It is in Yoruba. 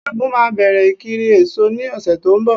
Ṣẹ́gun ma bẹ̀rẹ̀ ìkiri èso ní ọ̀sẹ̀ tó ń bọ̀